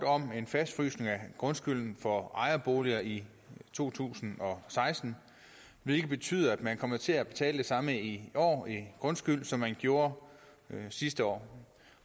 om en fastfrysning af grundskylden for ejerboliger i to tusind og seksten hvilket betyder at man kommer til at betale det samme i år i grundskyld som man gjorde sidste år